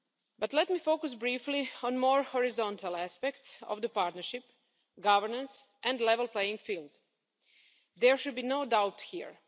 But let me focus briefly on more horizontal aspects of the partnership governance and level playing field. There should be no doubt here.